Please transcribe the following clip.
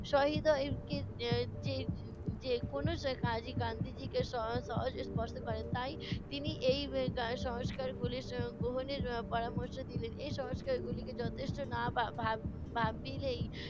সহৃদয় যে কোনো কাজই গান্ধীজিকে স~ সহজেই স্পর্শ করে। তাই তিনি এই সংস্কারগুলি গ্রহণের পরামর্শ দিলেন। এই সংস্কারগুলিকে যথেষ্ট না ভা~ ভাব~ ভাবিলেই